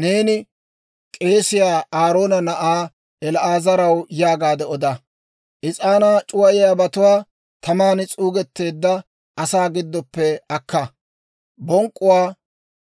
«Neeni k'eesiyaa Aaroona na'aa El"aazaraw yaagaade oda, ‹Is'aanaa c'uwayiyaabatuwaa taman s'uugetteedda asaa giddoppe akka; bonk'k'uwaa